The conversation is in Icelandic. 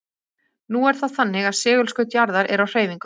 Nú er það þannig að segulskaut jarðar er á hreyfingu.